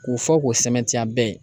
K'u fɔ k'o sɛmɛtiya bɛɛ ye